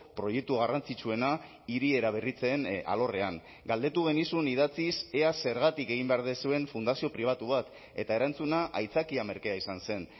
proiektu garrantzitsuena hiri eraberritzen alorrean galdetu genizun idatziz ea zergatik egin behar duzuen fundazio pribatu bat eta erantzuna aitzakia merkea izan zen